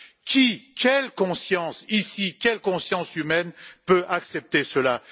Qui, quelle conscience ici, quelle conscience humaine peut accepter cela?